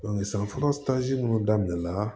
san fɔlɔ munnu daminɛna